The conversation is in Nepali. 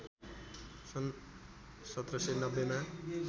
सन् १७९० मा